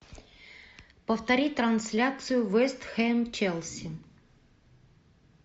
повторить трансляцию вест хэм челси